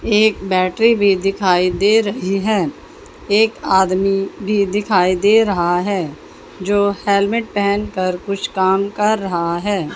एक बैटरी भी दिखाई दे रही हैं एक आदमी भी दिखाई दे रहा है जो हेलमेट पहेन कर कुछ काम कर रहा है।